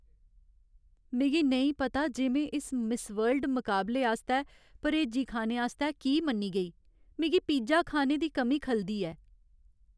मिगी नेईं पता जे में इस मिस वर्ल्ड मकाबले आस्तै पर्हेजी खाने आस्तै की मन्नी गेआ। मिगी पिज्जा खाने दी कमी खलदी ऐ।